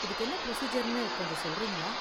இதுக்கு என்ன ப்ரொசீஜர்னு கொஞ்சம் சொல்றீங்களா?